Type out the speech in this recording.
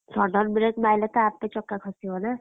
Sudden brake ମାଇଲେ ତ ଆପେ ଚକା ଖସିବ ନା!